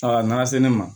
Aa n'a se ne ma